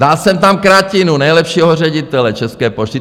Dal jsem tam Kratinu, nejlepšího ředitele České pošty.